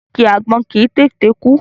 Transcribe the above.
Igi àgbọn kì í tètè kú.